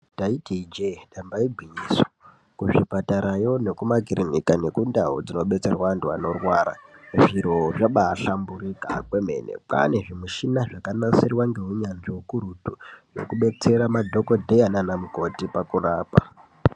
Ndaiti iinje damba igwinyiso kuzvipatarayo nekumakirinika kundau dzinodetserwa antu vanorwara zviro zvabahlamburika kwemena kwane zvimishina yakanasirwa neunyanzvi ukurutu zvinoabetsera madhokodheya nana mukoti pakurapa.